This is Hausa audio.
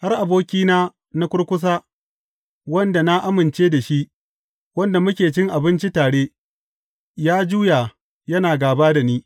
Har abokina na kurkusa, wanda na amince da shi, wanda muke cin abinci tare, ya juya yana gāba da ni.